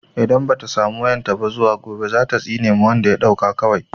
In bata samu wayan ta ba zuwa gobe zata tsine wa wanda ya ɗauka kawai